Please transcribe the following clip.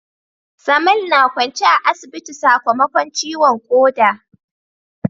Samal na kwance a asibiti sakamakon ciwon koda